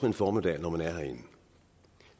en formiddag når man er herinde